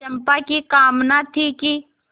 चंपा की कामना थी कि